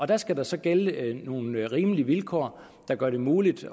der skal der så gælde nogle rimelige vilkår der gør det muligt